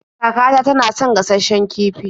Kakata tana son gashasshen kifi.